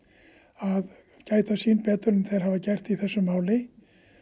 að gæta sín betur en þeir hafa gert í þessu máli